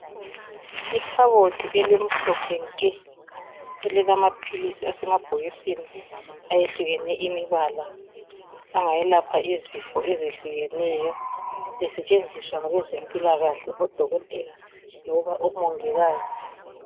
Ikhabothi elimhlophe nke elilamaphilisi asemabhokisini ayehlukene imibala angayelapha izifo ezehlukeneyo esetshenziswa ngabezempilakahle odokotela loba omongikazi.